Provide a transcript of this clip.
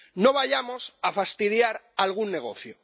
¡no vayamos a fastidiar algún negocio!